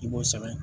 I b'o sɛbɛn